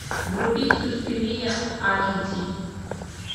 вруби суспирия аш ди